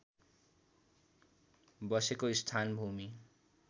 बसेको स्थान भूमि